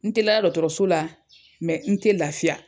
N te la dɔɔtɔrɔso la n te lafiya.